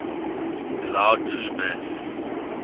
allow true mass